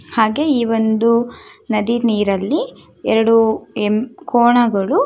ಹಾಗೆ ಈ ಒಂದು ನದಿ ನೀರಲ್ಲಿ ಎರಡು ಎಮ್ಮೆ ಕೋಣಗಳು